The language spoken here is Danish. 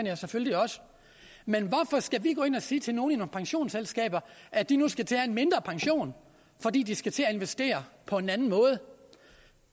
jeg selvfølgelig også men hvorfor skal vi gå ind og sige til nogle pensionsselskaber at de nu skal til at have en mindre pension fordi de skal til at investere på en anden måde